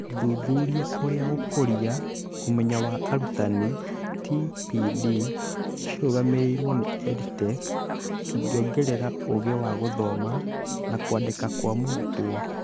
Thuthuria ũrĩa gũkũria ũmenyo wa arutani (TPD) cirũgamĩrĩrũo nĩ EdTech cĩngĩongerera ũũgĩ wa gũthoma na kwandĩka kwa mũrutwo